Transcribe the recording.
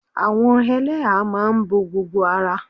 Àwọn ẹlẹ́ha máa n bo gbogbo ara